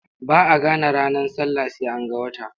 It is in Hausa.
Ba a gane ranar sallah sai an ga wata.